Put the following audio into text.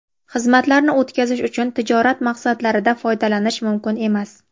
xizmatlarni) o‘tkazish uchun tijorat maqsadlarida foydalanish mumkin emas.